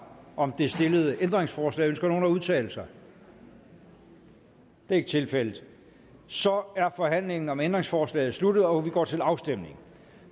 om det stillede ændringsforslag ønsker nogen at udtale sig det er ikke tilfældet så er forhandlingen om ændringsforslaget sluttet og vi går til afstemning